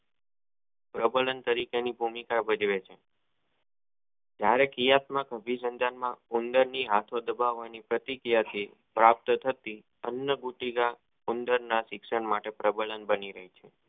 પ્રબંધન તરીકે ની ભૂમિકા ભજવે છે જયારે કરિયાતમક અભિસમજન માં ઉંદર ની આખો દબાવાની પ્રતિક્રિયા થી પ્રાપ્ત થતી અનભુતી ના ઉંદર ના તીક્ષણ માટે પરબનાં બની રહેતું